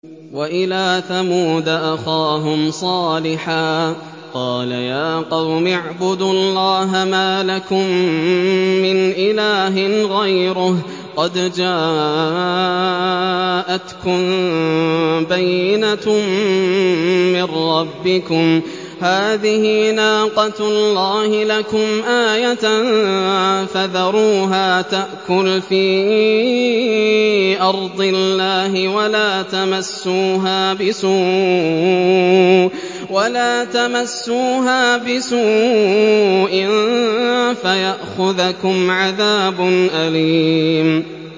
وَإِلَىٰ ثَمُودَ أَخَاهُمْ صَالِحًا ۗ قَالَ يَا قَوْمِ اعْبُدُوا اللَّهَ مَا لَكُم مِّنْ إِلَٰهٍ غَيْرُهُ ۖ قَدْ جَاءَتْكُم بَيِّنَةٌ مِّن رَّبِّكُمْ ۖ هَٰذِهِ نَاقَةُ اللَّهِ لَكُمْ آيَةً ۖ فَذَرُوهَا تَأْكُلْ فِي أَرْضِ اللَّهِ ۖ وَلَا تَمَسُّوهَا بِسُوءٍ فَيَأْخُذَكُمْ عَذَابٌ أَلِيمٌ